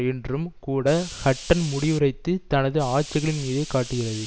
என்றும் கூட ஹட்டன் முடிவுரைத்து தனது ஆட்சிகளின் மீதே காட்டுகிறது